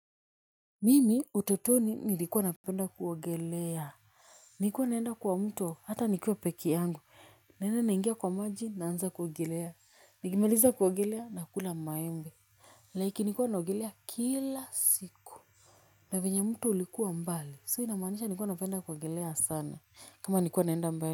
Mimi ututoni nilikuwa napenda kuogelea. Nilikuwa naenda kwa mto hata nikuwa pekee yangu. Naenda naingia kwa maji na anza kuogelea. Nikimaliza kuogelea nakula maembe. Laiki nilikuwa naogelea kila siku. Na venye mto ulikuwa mbali. So inamanisha nilikuwa napenda kuogelea sana. Kama nikuwa naenda mbali.